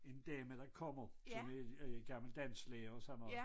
En dame der kommer som er en gammel dansklærer og sådan noget